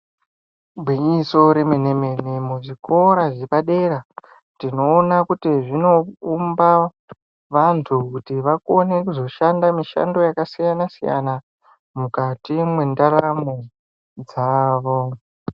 Igwinyiso remene mene muzvikora zvepa dera tinoona kuti zvino umba vantu kuti vakone kuzoshanda mishando yaka siuana siyana mukati mwendaramo dzavo.